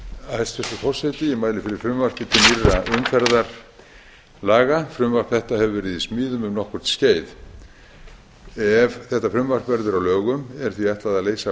forseti ég mæli fyrir frumvarpi til nýrra umferðarlaga frumvarp þetta hefur verið í smíðum um nokkurt skeið ef það verður að lögum er því ætlað að leysa af